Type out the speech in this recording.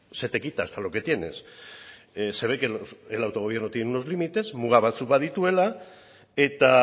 se te quita hasta lo que tienes se ve que el autogobierno tiene unos límites muga batzuk badituela eta